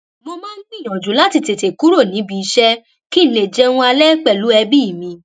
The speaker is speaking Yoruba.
mo máa ń gbìyànjú láti tètè kúrò níbi iṣé kí n lè jẹun alẹ pèlú ẹbí mi